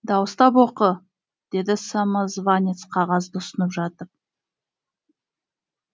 дауыстап оқы деді самозванец қағазды ұсынып жатып